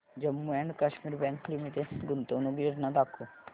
Jammu and Kashmir bank limited गुंतवणूक योजना दाखव